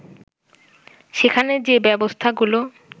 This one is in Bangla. সেখানে যে ব্যবস্থাগুলো